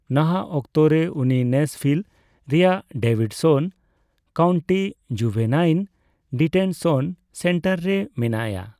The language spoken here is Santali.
ᱱᱟᱦᱟᱜ ᱚᱠᱛᱚᱨᱮ ᱩᱱᱤ ᱱᱮᱥᱵᱷᱤᱞ ᱨᱮᱭᱟᱜ Davidson county juvenile detention centre ᱨᱮ ᱢᱮᱱᱟᱭᱼᱟ ᱾